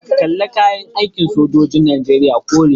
Kalar kayan aikin sojojin Najeriya kore ne.